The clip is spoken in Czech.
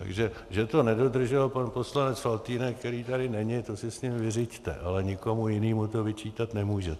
Takže že to nedodržel pan poslanec Faltýnek, který tady není, to si s ním vyřiďte, ale nikomu jinému to vyčítat nemůžete.